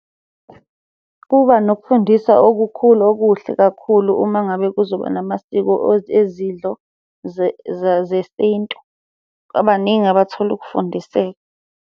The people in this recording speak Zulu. Kuba nokufundisa okukhulu okuhle kakhulu uma ngabe kuzoba namasiko ezidlo zesintu, ngoba baningi abathola ukufundiseka.